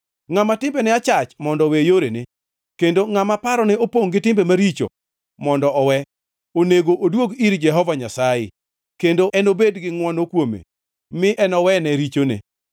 Ngʼama timbene achach mondo owe yorene, kendo ngʼama parone opongʼ gi timbe richo mondo owe. Onego oduog ir Jehova Nyasaye, kendo enobed gi ngʼwono kuome mi enowene richone.